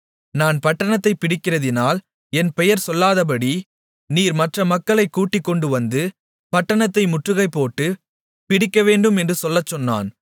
நான் பட்டணத்தைப் பிடிக்கிறதினால் என் பெயர் சொல்லாதபடி நீர் மற்ற மக்களைக் கூட்டிக்கொண்டுவந்து பட்டணத்தை முற்றுகைபோட்டு பிடிக்கவேண்டும் என்று சொல்லச்சொன்னான்